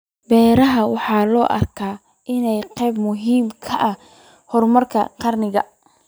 Beeraha waxa loo arkaa inay qayb muhiim ah ka yihiin horumarka qaranka.